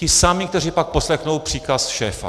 Ti sami, kteří pak poslechnou příkaz šéfa.